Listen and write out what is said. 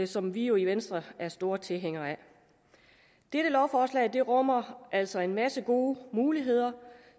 som vi jo i venstre er store tilhængere af dette lovforslag rummer altså en masse gode muligheder